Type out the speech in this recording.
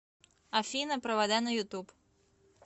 афина провода на ютуб